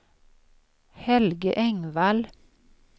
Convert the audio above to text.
Helge Engvall